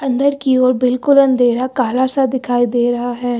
अंदर की ओर बिल्कुल अंधेरा काला सा दिखाई दे रहा है।